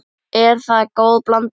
Er það góð blanda.